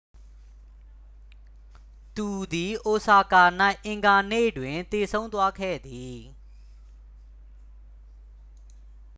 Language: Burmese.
သူသည် အိုဆာကာ၌ အင်္ဂါနေ့တွင် သေဆုံးသွားခဲ့သည်